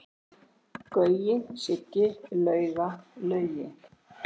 Gaui, Siggi, Lauga, Laugi.